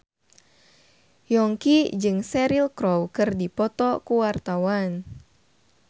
Yongki jeung Cheryl Crow keur dipoto ku wartawan